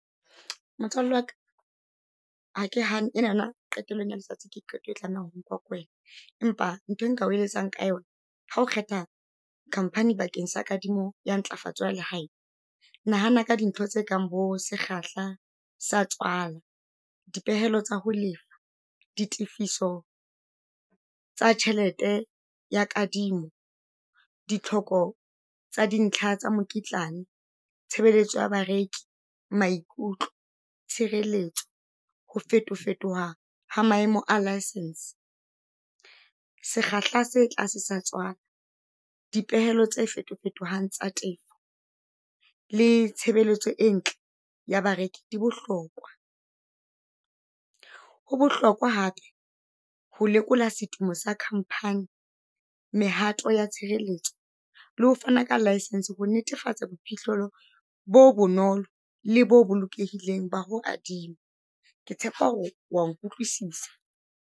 Motswalle waka hake hane ena na yona qetellong ya letsatsi ke qeto e tlameha ho nkuwa ke wena, empa ntho e nka o eletsang ka yona. Ha o kgetha khamphani bakeng sa kadimo ya ntlafatsa ya le hae, nahana ka dintho tse kang bo sekgahla sa tswala di pehelo tsa ho lefa, di tifiso tsa tjhelete ya kadimo. Di tlhoko tsa dintlha tsa mokitlane, tshebeletso ya bareki, maikutlo, tshireletso, ho fetofetoha ha maemo a licence. Sekgahla se tlase sa tswala, dipehelo tse fetofetohang tsa teng le tshebeletso e ntle ya bareki di bohlokwa. Ho bohlokwa hape ho lekola setumo sa khamphani, mehato ya tshireletso le ho fana ka laesense ho netefatsa boiphihlelo bo bonolo, le bo bolokehileng ba ho adima. Ke tshepa hore wa nkutlwisisa.